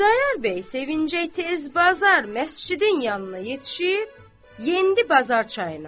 Xudayar bəy sevinclə tez bazar məscidin yanına yetişib, yendi Bazar çayına.